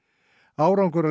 árangur af